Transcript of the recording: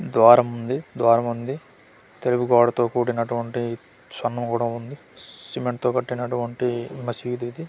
ద్వారం ఉంది ద్వారం ఉంది తిరుగు పాడుతు కుడినటువంటి షన్ను కూడా ఉంది సి-సిమెంట్ తో కట్టినట్టు వంటి మసీద్ ఇది.